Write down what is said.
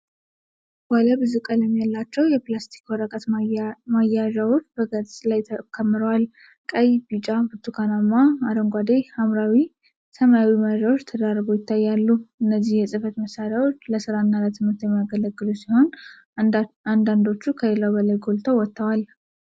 ባለ ብዙ ቀለም ያላቸው የፕላስቲክ ወረቀት መያዣዎች በነጭ ገጽ ላይ ተከምረዋል። ቀይ፣ ቢጫ፣ ብርቱካናማ፣ አረንጓዴ፣ ሐምራዊና ሰማያዊ መያዣዎች ተደራርበው ይታያሉ። እነዚህ የጽህፈት መሳሪያዎች ለስራና ለትምህርት የሚያገለግሉ ሲሆን, አንዳንዶቹ ከሌሎቹ በላይ ጎልተው ወጥተዋል።